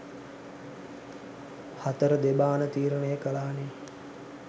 හතර දෙබාන තීරණය කලානේ